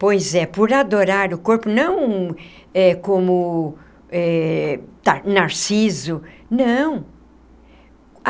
Pois é, por adorar o corpo, não eh como eh Narciso, não.